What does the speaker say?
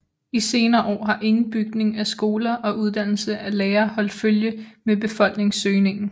I senere år har ingen bygning af skoler og uddannelse af lærere holdt følge med befolkningsøgningen